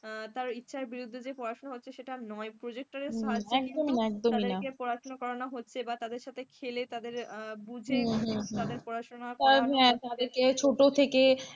তার ইচ্ছের বিরুদ্ধে পড়াশোনা হচ্ছে সেটা নয় প্রজেক্টরের সাহায্যে কিন্তু তাদেরকে পড়াশোনা করানো হচ্ছে, বা তাদের সাথে খেলে তাদের বুঝে তাদের পড়াশোনা করানো